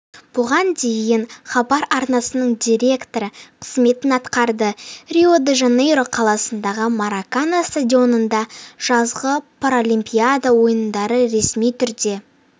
бұған дейін хабар арнасының директоры қызметін атқарды рио-де-жанейро қаласындағы маракана стадионында жазғы паралимпиада ойындары ресми түрде